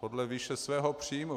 Podle výše svého příjmu.